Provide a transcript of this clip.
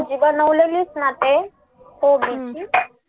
भाजी बनवलेलीस ना ते कोबीची